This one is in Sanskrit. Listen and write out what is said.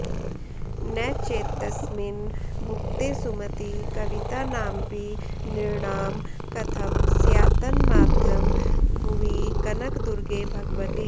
न चेत्तस्मिन् भुक्ते सुमति कवितानामपि नृणां कथं स्यात्तन्माद्यं भुवि कनकदुर्गे भगवति